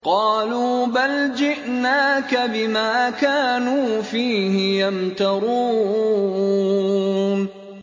قَالُوا بَلْ جِئْنَاكَ بِمَا كَانُوا فِيهِ يَمْتَرُونَ